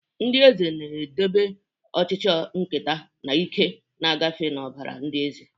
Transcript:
Ndị eze na-edobe ọchịchị nketa, na ike na-agafe n'ọbara ndị eze.